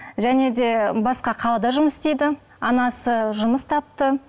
және де басқа қалада жұмыс істейді анасы жұмыс тапты